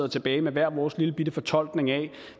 tilbage med hver vores lillebitte fortolkning af